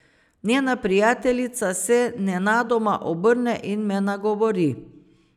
Njena prijateljica se nenadoma obrne in me nagovori.